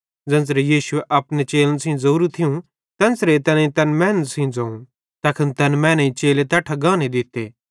ज़ेन्च़रां यीशुए अपने चेलन सेइं ज़ोरू थियूं तेन्च़रां तैनेईं तैन मैनन् सेइं ज़ोवं तैखन तैन मैनेईं चेले तैट्ठां गाने दित्ते